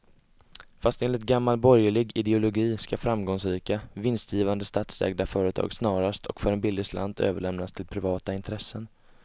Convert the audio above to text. Fast enligt gammal borgerlig ideologi ska framgångsrika, vinstgivande statsägda företag snarast och för en billig slant överlämnas till privata intressen.